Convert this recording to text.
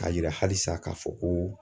K'a yira halisa k'a fɔ ko